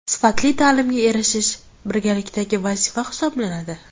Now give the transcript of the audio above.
Sifatli ta’limga erishish birgalikdagi vazifa hisoblanadi.